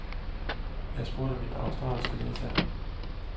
Jeg spurgte min australske ledsager.